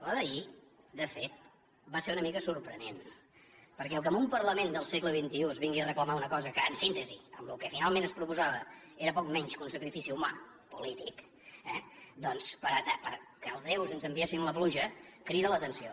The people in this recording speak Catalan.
la d’ahir de fet va ser una mica sorprenent perquè el fet que en un parlament del segle en síntesi amb el que finalment es proposava era poc menys que un sacrifici humà polític eh doncs perquè els déus ens enviessin la pluja crida l’atenció